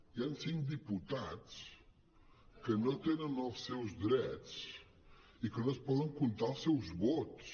hi han cinc diputats que no tenen els seus drets i que no es poden comptar els seus vots